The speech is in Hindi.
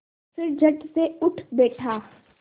फिर झटसे उठ बैठा